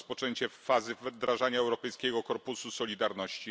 rozpoczęcie fazy wdrażania Europejskiego Korpusu Solidarności.